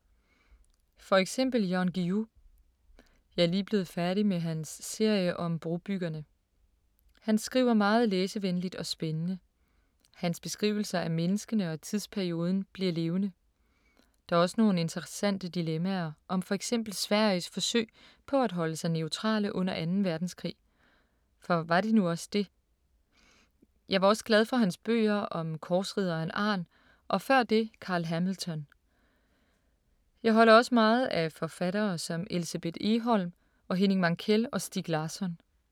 For eksempel Jan Guillou. Jeg er lige blevet færdig med hans serie om brobyggerne. Han skriver meget læsevenligt og spændende. Hans beskrivelser af menneskene og tidsperioden bliver levende. Der er også nogle interessante dilemmaer om for eksempel Sveriges forsøg på at holde sig neutrale under 2. verdenskrig, for var de nu også det? Jeg var også glad for hans bøger om korsridderen Arn og før det Carl Hamilton. Jeg holder også meget af forfattere som Elsebeth Egholm og Henning Mankell og Stieg Larsson.